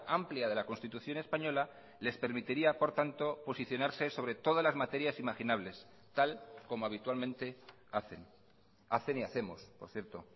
amplia de la constitución española les permitiría por tanto posicionarse sobre todas las materias imaginables tal como habitualmente hacen hacen y hacemos por cierto